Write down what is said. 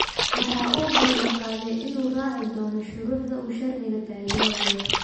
Waxa uu ballan qaaday in uu raaci doono shuruucda uu sharciga taageerayo.